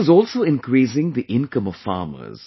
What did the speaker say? This is also increasingthe income of farmers